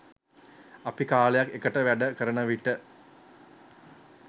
අපි කාලයක් එකට වැඩ කරන විට